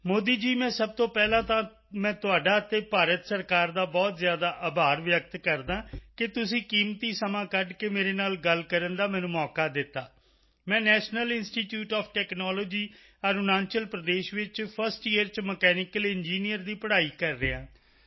ਮੋਦੀ ਜੀ ਮੈਂ ਸਭ ਤੋਂ ਪਹਿਲਾਂ ਤਾਂ ਮੈਂ ਤੁਹਾਡਾ ਅਤੇ ਭਾਰਤ ਸਰਕਾਰ ਦਾ ਬਹੁਤ ਜ਼ਿਆਦਾ ਆਭਾਰ ਵਿਅਕਤ ਕਰਦਾ ਹਾਂ ਕਿ ਤੁਸੀਂ ਕੀਮਤੀ ਸਮਾਂ ਕੱਢ ਕੇ ਮੇਰੇ ਨਾਲ ਗੱਲ ਕਰਨ ਦਾ ਮੈਨੂੰ ਮੌਕਾ ਦਿੱਤਾ ਮੈਂ National Institute of Technology Arunachal Pradesh ਵਿੱਚ ਫਸਟ ਈਅਰ ਚ ਮਕੈਨੀਕਲ ਇੰਜੀਨੀਅਰ ਦੀ ਪੜ੍ਹਾਈ ਕਰ ਰਿਹਾ ਹਾਂ